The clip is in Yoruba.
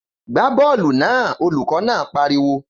Gbá bọ́ọ̀lù náà! Olùkọ́ náà pariwo